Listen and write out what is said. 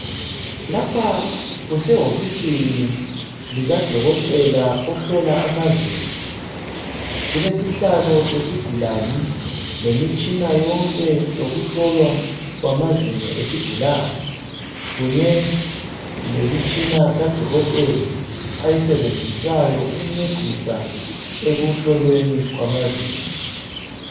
Lapha kusehofusini likadokotela ohlola amazinyo. Kukesihlalo sesigulani lemitshina yonke yokuhlolwa kwamazinyo esigulane kunye lemitshina kadokotela ayisebenzisayo ukuncedisa ekuhlolweni kwamazinyo.